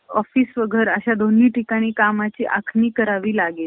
office आणि घर अशा दोन्ही ठिकाणी कामाची आखणी करावी लागेल.